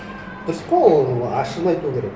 дұрыс қой ол ашығын айту керек